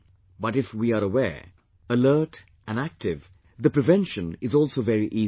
But if we are aware, alert and active, the prevention is also very easy